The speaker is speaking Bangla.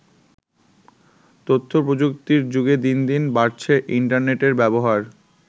তথ্য প্রযুক্তির যুগে দিনদিন বাড়ছে ইন্টারনেটের ব্যবহার।